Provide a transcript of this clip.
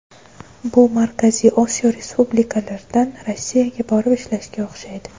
Bu Markaziy Osiyo respublikalaridan Rossiyaga borib ishlashga o‘xshaydi.